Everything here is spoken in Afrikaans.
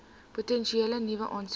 potensiële nuwe aansoekers